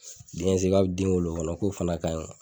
Den se be den o kɔnɔ ko fana ka ɲi